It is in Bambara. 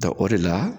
o de la